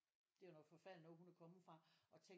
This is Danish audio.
Det er jo noget forfærdeligt noget hun er kommet fra og tænk